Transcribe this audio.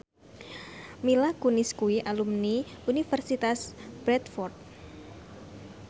Mila Kunis kuwi alumni Universitas Bradford